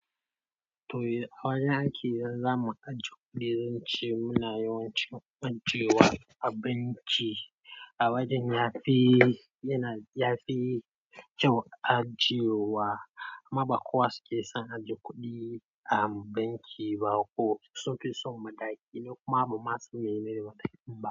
To a wajen ake zama aje kuɗi, zan ce muna yawancin ajiyewa a banki. A wajen ya fi, yana, ya fi kyau ajiyewa. Kuma ba kowa suke son ajiye kuɗi a banki ba, sun fi son mataki ni kuma ban san ma meye mataki ba.